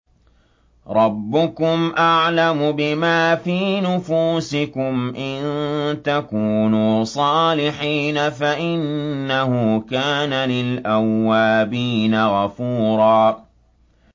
رَّبُّكُمْ أَعْلَمُ بِمَا فِي نُفُوسِكُمْ ۚ إِن تَكُونُوا صَالِحِينَ فَإِنَّهُ كَانَ لِلْأَوَّابِينَ غَفُورًا